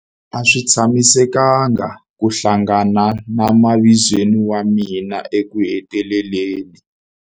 A swi tsakisa ku hlangana na mavizweni wa mina ekuheteleleni.